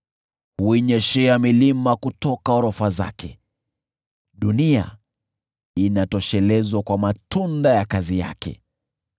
Huinyeshea milima kutoka orofa zake, dunia inatoshelezwa kwa matunda ya kazi yake.